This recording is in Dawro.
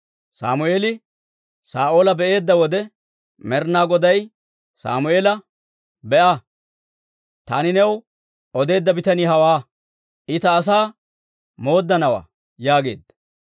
Sammeeli Saa'oola be'eedda wode, Med'inaa Goday Sammeela, «Be'a! Taani new odeedda bitanii hawaa; I ta asaa mooddanawaa» yaageedda.